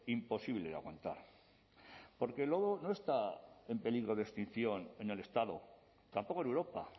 imposible de aguantar porque el lobo no está en peligro de extinción en el estado tampoco en europa